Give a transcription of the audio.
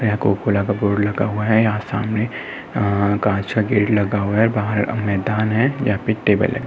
Board लगा हुआ है। यहाँ सामने काँच का गेट लगा हुआ है। बाहर मैदान है जहा पे टेबल लगा है।